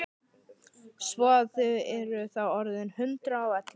Svo að þið eruð þá orðin hundrað og ellefu!